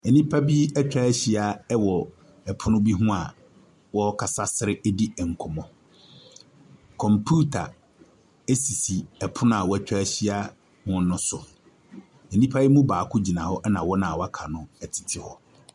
Nnipa bi atwa ahyia wɔ pono bi ho a wɔrekasa sere redi nkɔmmɔ. Kɔmputa sisi pono a wɔatwa ahyia ho no so. Nnipa yi mu baako gyina hɔ na wɔn a wɔaka no tete hɔ.